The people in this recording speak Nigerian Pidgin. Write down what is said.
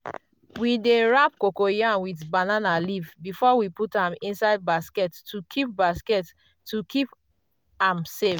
we dey wrap cocoyam with banana leaf before we put am inside basket to keep basket to keep am safe.